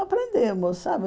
Aprendemos, sabe?